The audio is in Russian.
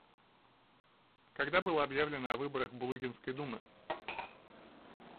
когда было объявлено о выборах булыгинской думы